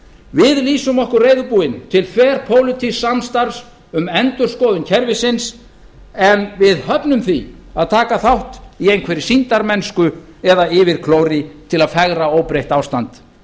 við lýsum okkur reiðubúin til þverpólitísks samstarfs um endurskoðun kerfisins en við höfnum því að taka þátt í einhverri sýndarmennsku eða yfirklóri til að fegra óbreytt ástand